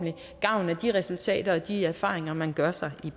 gavn af de resultater og de erfaringer man gør sig i